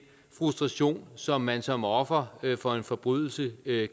frustration som man som offer for en forbrydelse